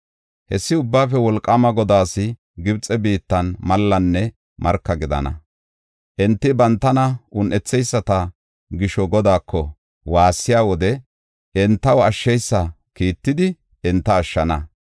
Hessi Ubbaafe Wolqaama Godaas Gibxe biittan mallanne marka gidana. Enti bantana un7etheyisata gisho Godaako waassiya wode entaw ashsheysa kiittidi enta ashshana.